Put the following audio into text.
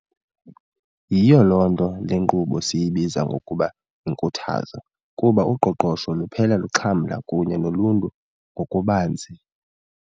Yiyo loo nto le nkqubo siyibiza ngokuba yinkuthazo, kuba uqoqosho luphela luxhamla kunye noluntu ngokubanzi.